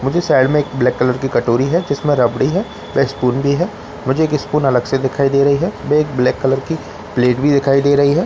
मुझे साइड में एक ब्लैक कलर की कटोरी है जिसमें रबड़ी है या स्पून भी है मुझे एक स्पून अलग से दिखाई दे रही है और एक ब्लैक कलर की प्लेट भी रखी हुई दिखाई दे रही है --